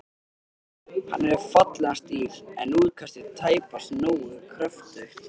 Hann hefur fallegan stíl, en útkastið tæpast nógu kröftugt.